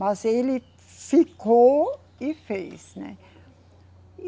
Mas ele ficou e fez, né. E